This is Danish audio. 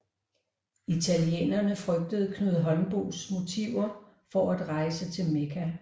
Italienerne frygtede Knud Holmboes motiver for at rejse til Mekka